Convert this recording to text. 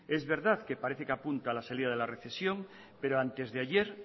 es verdad que parece que apunta a la salida de la recesión pero antes de ayer